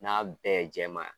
N'a bɛɛ ye jɛman ye.